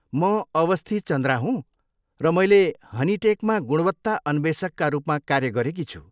म अस्वथी चन्द्रा हुँ र मैले हनिटेकमा गुणवत्ता अन्वेषकका रूपमा कार्य गरेकी छु।